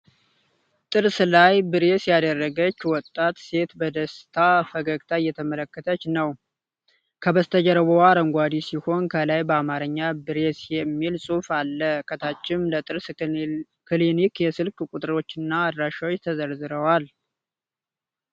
ጥርስ ላይ ብሬስ ያደረገች ወጣት ሴት በደስታ ፈገግታ እየተመለከተች ነው ። ከበስተጀርባው አረንጓዴ ሲሆን፣ ከላይ በአማርኛ "ብሬስ" የሚል ጽሑፍ አለ፤ ከታችም ለጥርስ ክሊኒክ የስልክ ቁጥሮችና አድራሻዎች ተዘርዝረዋል።